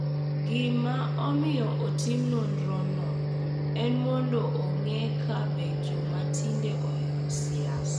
Gima omiyo otim nonrono en mondo ong’e ka be joma tindo ohero siasa .